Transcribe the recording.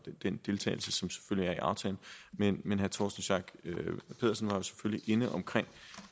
den deltagelse som selvfølgelig er i aftalen men herre torsten schack pedersen var selvfølgelig inde omkring